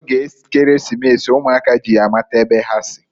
N'oge Ekeresimesi, umuaka ji ya amata ebe ha si.